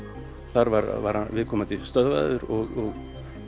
þar var viðkomandi stöðvaður og